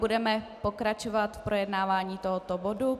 Budeme pokračovat v projednávání tohoto bodu.